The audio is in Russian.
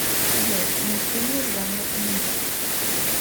джой мультфильмы в жанре анимэ